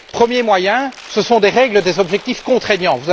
Premier moyen ce sont des règles, des objectifs contraignants.